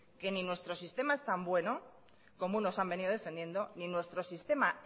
que ni nuestro sistema es tan bueno como unos han venido defendiendo ni nuestro sistema